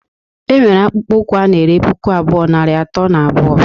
Enwere akpụkpọ ụkwụ ana ere puku abụọ, narị atọ na abuo.